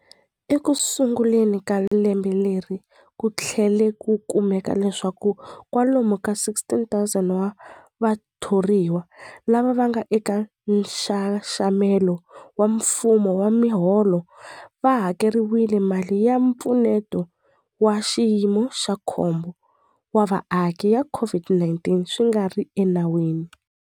Ekusunguleni ka lembe leri, ku tlhele ku kumeka leswaku kwalomu ka 16,000 wa vatho riwa lava nga eka nxaxamelo wa mfumo wa miholo va hakeriwile mali ya Mpfuneto wa Xiyimo xa Khombo wa Vaaki ya COVID-19 swi nga ri enawini.